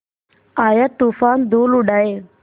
आया तूफ़ान धूल उड़ाए